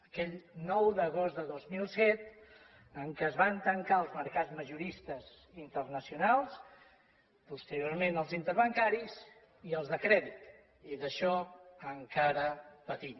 aquell nou d’agost de dos mil set en què es van tancar els mercats majoristes internacionals posteriorment els interbancaris i els de crèdit i d’això encara patim